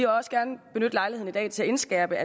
også gerne benytte lejligheden i dag til at indskærpe at